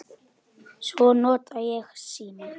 Svo nota ég símann.